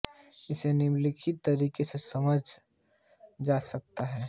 इसे निम्नलिखित तरीके से समझा जा सकता है